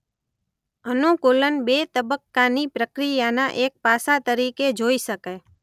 અનુકૂલન બે તબક્કાની પ્રક્રિયાના એક પાસા તરીકે જોઈ શકાય.